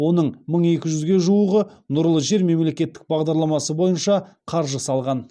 оның мың екі жүзге жуығы нұрлы жер мемлекеттік бағдарламасы бойынша қаржы салған